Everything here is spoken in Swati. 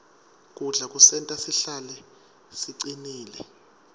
kudla kusenta sihlale sicinile